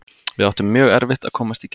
Við áttum mjög erfitt að komast í gegn.